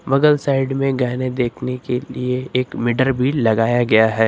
बगल साइड में गहने देखने के लिए एक भी लगाया गया है।